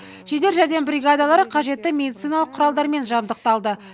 жедел жәрдем бригадалары қажетті медициналық құралдармен жабдықталды